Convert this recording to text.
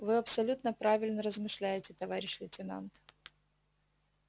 вы абсолютно правильно размышляете товарищ лейтенант